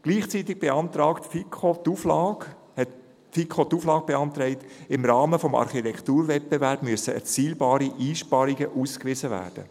Gleichzeitig beantragte die FiKo die Auflage, im Rahmen des Architekturwettbewerbs müssten erzielbare Einsparungen ausgewiesen werden.